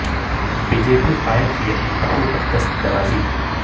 be J P قائد کی اپنی بہو پر دست درازی